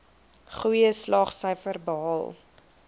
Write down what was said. goeie slaagsyfers behaal